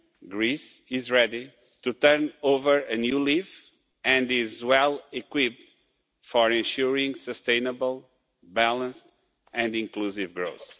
Greece is ready to turn over a new leaf and is well equipped for ensuring sustainable, balanced and inclusive growth.